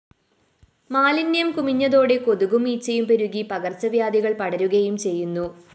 മാലിന്യം കുമിഞ്ഞതോടെ കൊതുകും ഈച്ചയും പെരുകി പകര്‍ച്ചവ്യാധികള്‍ പടരുകയും ചെയ്യുന്നു